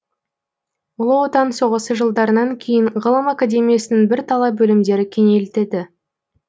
ұлы отан соғысы жылдарынан кейін ғылым академиясының бірталай бөлімдері кеңейілтілді